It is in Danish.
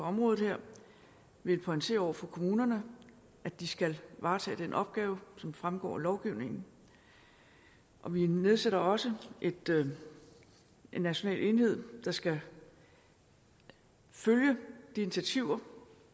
område vil pointere over for kommunerne at de skal varetage den opgave som fremgår af lovgivningen vi nedsætter også en national enhed der skal følge de initiativer